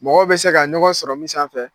Mɔgɔw bɛ se ka ɲɔgɔn sɔrɔ min sanfɛ.